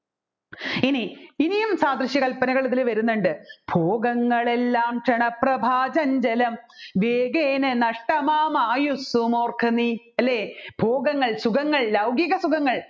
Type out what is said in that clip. ഇനി ഇനിയും സാദ്ര്യശ്യ കല്പനകൽ ഇതിൽ വരുന്നുണ്ട് ഭോഗങ്ങൾ എല്ലാം ക്ഷണപ്രഭാ ചഞ്ചലം വേഗേന നഷ്ടമാമയുസ്സുമോർക്കു നീ അല്ലെ ഭോഗങ്ങൾ സുഖങ്ങൾ ലൗകിക സുഖങ്ങൾ